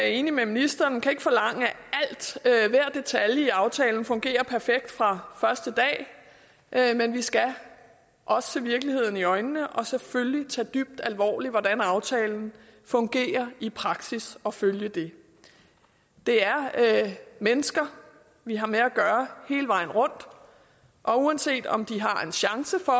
enig med ministeren kan forlange at alt hver detalje i aftalen fungerer perfekt fra første dag men vi skal også se virkeligheden i øjnene og selvfølgelig tage dybt alvorligt hvordan aftalen fungerer i praksis og følge det det er mennesker vi har med at gøre hele vejen rundt og uanset om de har en chance for